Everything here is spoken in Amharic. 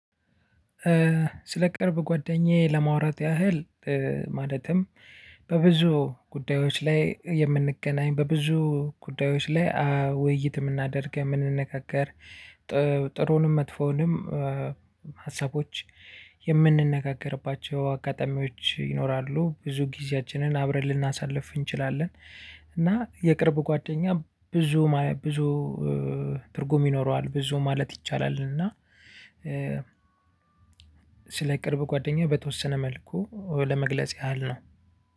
ስለ ቅርብ ጓደኛዬ ለማውራት ያህል ማለትም በብዙ ጉዳዮች ላይ የምንገናኝ በብዙ ጉዳዮች ላይ ውይይት የምናደርግ የምንነካከር ጥሩውንም መጥፎንም ሀሳቦች የምንነጋገርባቸው አጋጣሚዎች ይኖራሉ ብዙ ጊዜያችንን አብረን ልናሳልፍ እንችላለን። እና የቅርብ ጓደኛ ብዙ ብዙ ትርጉም ይኖረዋል ብዙ ማለት ይቻላል። እና ስለ ቅርብ ጓደኛዬ በተወሰነ መልኩ ለመግለጽ ያህል ነው።